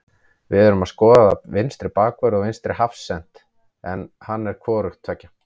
Við erum að skoða vinstri bakvörð og vinstri hafsent og hann er hvorugt tveggja.